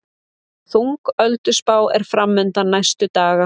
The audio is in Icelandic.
Þung ölduspá er framundan næstu daga